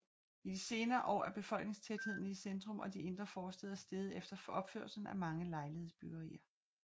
I de senere år er befolkningstætheden i centrum og de indre forstæder steget efter opførelsen af mange lejlighedsbyggerier